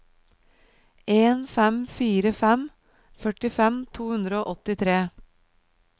en fem fire fem førtifem to hundre og åttitre